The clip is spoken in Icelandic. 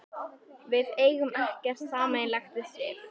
Við eigum ekkert sameiginlegt við Sif.